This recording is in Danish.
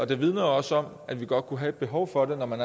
det vidner jo også om at vi godt kunne have et behov for det når man